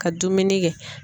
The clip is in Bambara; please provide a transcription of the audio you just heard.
Ka dumuni kɛ.